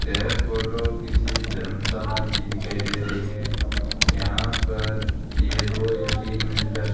यह फोटो किसी धर्मशाला की दिखाई दे रही है यहां पर ये दो या तीन मंजिला --